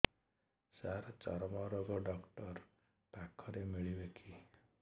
ସାର ଚର୍ମରୋଗ ଡକ୍ଟର ପାଖରେ ମିଳିବେ କି